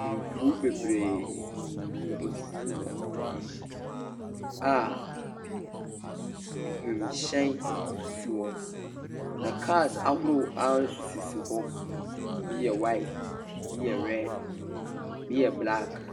Mfir bebree na osisi hɔ a wimhyɛn sisi hɔ. Na car ahorow a nso sisi hɔ, bi yɛ white, bi yɛ red, bi yɛ blaak.